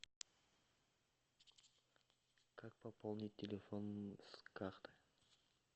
как пополнить телефон с карты